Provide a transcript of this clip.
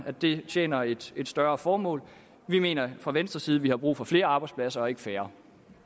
at det tjener et et højere formål vi mener fra venstres side at vi har brug for flere arbejdspladser og ikke færre